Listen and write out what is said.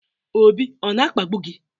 Obi ọ na-akpagbu gị?